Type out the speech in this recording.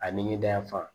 A ni ɲe dan fan